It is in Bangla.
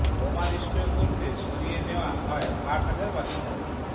বোমা নিষ্ক্রিয় করতে সরিয়ে নেয়া হয় আট হাজার বাসিন্দাকে